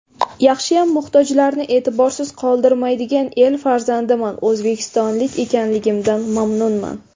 Yaxshiyam muhtojlarni e’tiborsiz qoldirmaydigan el farzandiman, o‘zbekistonlik ekanligimdan mamnunman”.